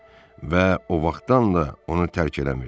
Və o vaxtdan da onu tərk eləmirdi.